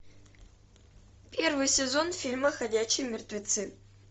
первый сезон фильма ходячие мертвецы